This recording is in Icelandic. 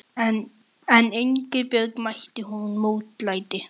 En Ingibjörg, mætti hún mótlæti?